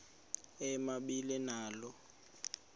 ema ibe nalo